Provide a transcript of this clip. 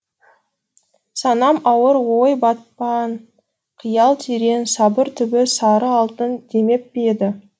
санам ауыр ой батпан қиял терең сабыр түбі сары алтын демеп пе еді